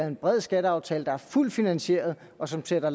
en bred skatteaftale der er fuldt finansieret og som sætter